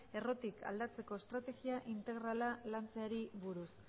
errotik aldatzeko estregia integrala lantzeari buruz